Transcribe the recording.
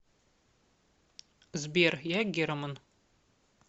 сбер я герман